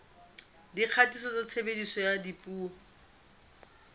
dikgatiso tsa tshebediso ya dipuo